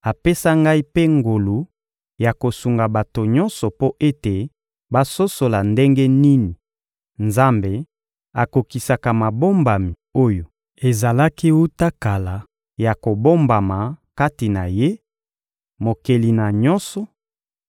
apesa ngai mpe ngolu ya kosunga bato nyonso mpo ete basosola ndenge nini Nzambe akokisaka mabombami oyo ezalaki wuta kala ya kobombama kati na Ye, Mokeli na nyonso,